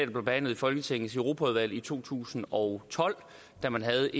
blev behandlet i folketingets europaudvalg i to tusind og tolv da man havde